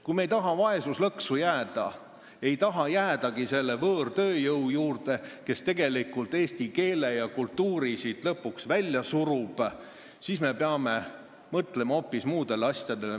Kui me ei taha vaesuslõksu jääda, ei taha jäädagi sõltuma sellest võõrtööjõust, kes tegelikult eesti keele ja kultuuri siit lõpuks välja surub, siis me peame mõtlema hoopis muudele asjadele.